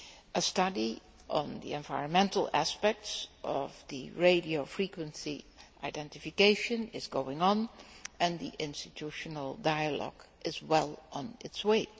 A study on the environmental aspects of the radio frequency identification is going on and the institutional dialogue is well on its way.